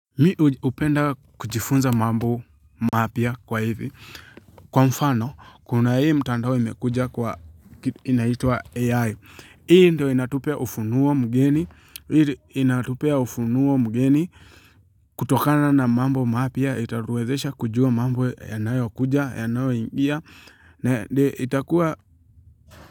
Mi hupenda kujifunza mambo mapya kwa hivi kwa mfano kuna hii mtandao imekuja kwa inaitwa AI. Hii ndo inatupea ufunuo mgeni ili inatupea ufunuo mgeni kutokana na mambo mapya itatuwezesha kujua mambo yanayo kuja yanayo ingia na itakuwa.